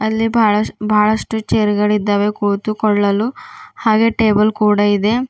ಅಲ್ಲಿ ಬಹಳಷ್ಟ್ ಬಹಳಷ್ಟು ಚೇರ್ ಗಳಿದ್ದಾವೆ ಕೂತುಕೊಳ್ಳಲು ಹಾಗೆ ಟೇಬಲ್ ಕೂಡ ಇದೆ.